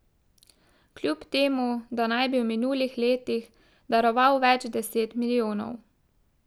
Kljub temu da naj bi v minulih letih daroval več deset milijonov.